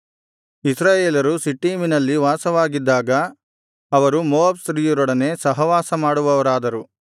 ಇಸ್ರಾಯೇಲರು ಶಿಟ್ಟೀಮಿನಲ್ಲಿ ವಾಸವಾಗಿದ್ದಾಗ ಅವರು ಮೋವಾಬ್ ಸ್ತ್ರೀಯರೊಡನೆ ಸಹವಾಸ ಮಾಡುವವರಾದರು